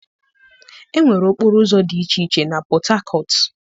Enwere okporo ụzọ dị iche iche na Port Harcourt.